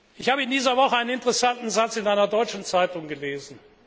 Ich habe in dieser Woche einen interessanten Satz in einer deutschen Zeitung gelesen.